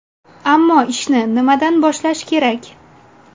Ammo ishni nimadan boshlash kerak?